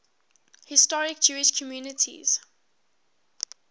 historic jewish communities